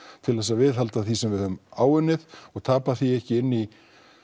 til að viðhalda því sem við höfum áunnið og tapa því ekki inn í